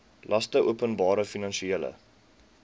laste openbare finansiële